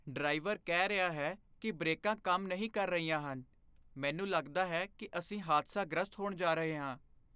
Driver ਕਹਿ ਰਿਹਾ ਹੈ ਕਿ ਬ੍ਰੇਕਾਂ ਕੰਮ ਨਹੀਂ ਕਰ ਰਹੀਆਂ ਹਨ। ਮੈਨੂੰ ਲੱਗਦਾ ਹੈ ਕਿ ਅਸੀਂ ਹਾਦਸਾ ਗ੍ਰਸਤ ਹੋਣ ਜਾ ਰਹੇ ਹਾਂ।